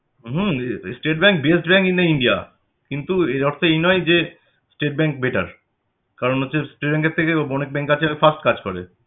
hmm State Bank best bank in the India কিন্তু এর অর্থ এই নয় যে State Bank better কারণ হচ্ছে State Bank এর থেকে অনেক bank আছে যে fast কাজ করে